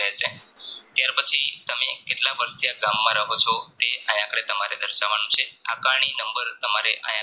ત્યાર પછી તમે કેટલા વર્ષથી આ ગામમાં રહો છો તે આયા દર્શવવાનું છે આંકણી નંબર તમારે આયા